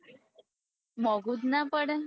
મોગું જ ના પડે